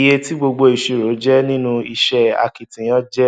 iye tí gbogbo ìṣirò jẹ nínú iṣẹ akitiyan jẹ